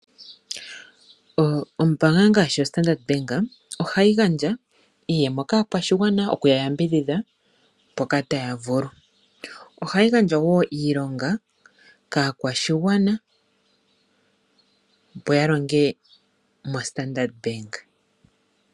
Ombanga ngashi oStandard bank ohayi gandja iiyema kaakwashigwana okuya yambidhidha mpoka taya vulu. Ohayi gandja niilonga kaakwashigwana opo ya longe moStandard bank.